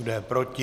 Kdo je proti?